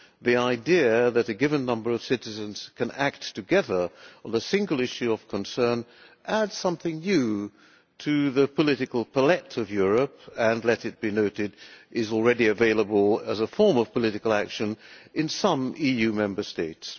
The idea that a given number of citizens can act together on a single issue of concern adds something new to the political palette of Europe and, let it be noted, is already available as a form of political action in some EU Member States.